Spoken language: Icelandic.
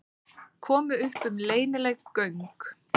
Komu upp um leynileg göng